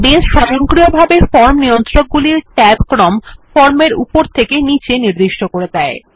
base স্বযন্কিয়ভাবে form নিয়ন্ত্রক গুলি ট্যাব ক্রম ফর্মের উপর থেকে নীচে নিদিষ্ট করে দেয়